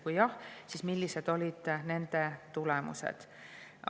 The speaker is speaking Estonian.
Kui jah, siis millised olid nende tulemused?